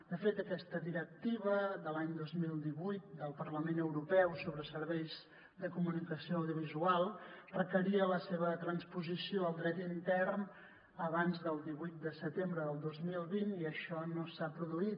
de fet aquesta directiva de l’any dos mil divuit del parlament europeu sobre serveis de comunicació audiovisual requeria la seva transposició al dret intern abans del divuit de setembre del dos mil vint i això no s’ha produït